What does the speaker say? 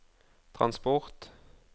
transport